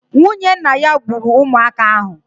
Nwunye nna ya gburu ụmụaka ahụ.